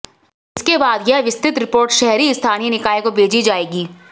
इसके बाद यह विस्तृत रिपोर्ट शहरी स्थानीय निकाय को भेजी जाएगी